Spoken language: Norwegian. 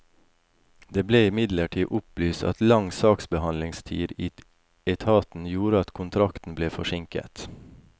Det ble imidlertid opplyst at lang saksbehandlingstid i etaten gjorde at kontrakten ble forsinket.